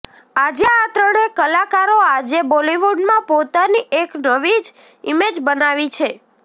આજે આ ત્રણે કલાકારો આજે બોલિવૂડમાં પોતાની એક નવી જ ઇમેજ બનાવી છે